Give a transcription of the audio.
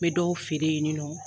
N bɛ dɔw feere ye nin nɔ.